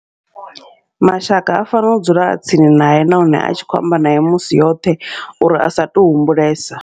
Mashaka a fanela u dzula a tsini nae nahone a tshi khou amba naye musi yoṱhe, uri asa to humbulesa.